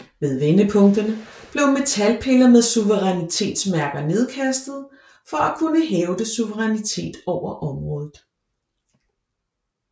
Ved vendepunkterne blev metalpiller med suverænitetsmærker nedkastede for at kunne hævde suverænitet over området